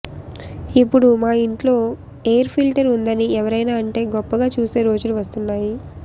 ఇప్పుడు మా ఇంట్లో ఎయిర్ ఫిల్టర్ ఉందని ఎవరైనా అంటే గొప్పగా చూసే రోజులు వస్తున్నాయి